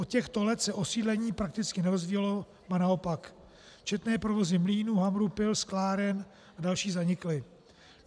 Od těchto let se osídlení prakticky nerozvíjelo, ba naopak, četné provozy mlýnů, hamrů, pil, skláren a další zanikly.